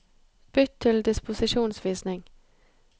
Bytt til disposisjonsvisning